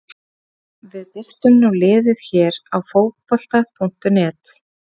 Við birtum nú liðið hér á Fótbolta.net.